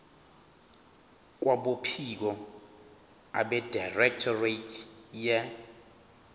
kwabophiko abedirectorate ye